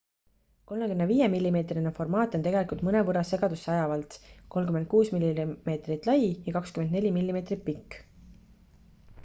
35 mm formaat on tegelikult mõnevõrra segadusseajavalt 36 mm lai ja 24 mm pikk